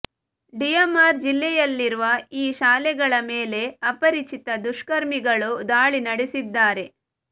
ಡಿಯಾಮರ್ ಜಿಲ್ಲೆಯಲ್ಲಿರುವ ಈ ಶಾಲೆಗಳ ಮೇಲೆ ಅಪರಿಚಿತ ದುಷ್ಕರ್ಮಿಗಳು ದಾಳಿ ನಡೆಸಿದ್ದಾರೆ